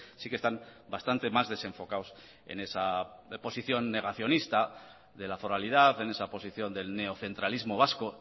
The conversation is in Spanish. sí que están bastante más desenfocados en esa posición negacionista de la foralidad en esa posición del neocentralismo vasco